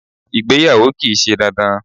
Ìgbéyàwó kìí se dandan